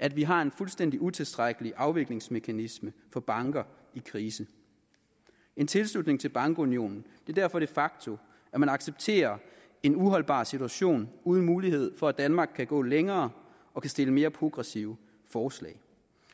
at vi har en fuldstændig utilstrækkelig afviklingsmekanisme for banker i krise en tilslutning til bankunionen er derfor de facto at man accepterer en uholdbar situation uden mulighed for at danmark kan gå længere og kan stille mere progressive forslag